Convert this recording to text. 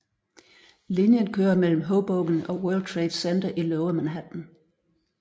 Linjen kører mellem Hoboken og World Trade Center i Lower Manhattan